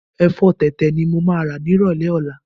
Ẹ̀fọ́ tẹ̀tẹ̀ ni mo máa rà nírọ̀lẹ́ ọ̀la.